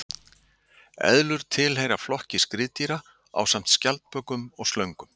Eðlur tilheyra flokki skriðdýra ásamt skjaldbökum og slöngum.